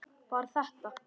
Var þetta.?